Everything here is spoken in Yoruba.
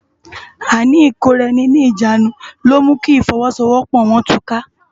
Áìní ikóráèni ni ijánú ló mú ki ifòwòsówòpò wòn túká